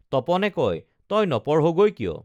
তপনে কয় তই নপঢ়গৈ কিয়